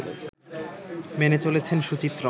মেনে চলেছেন সুচিত্র